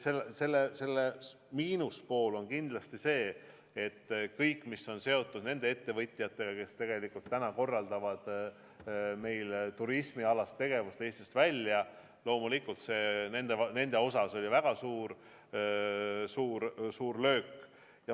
Selle miinuspool on aga seotud nende ettevõtjatega, kes täna korraldavad meil turismialast tegevust suunaga Eestis väljapoole: loomulikult nendele oli see väga suur löök.